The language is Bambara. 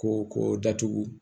Ko ko datugu